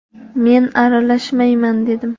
Men aralashmayman dedim.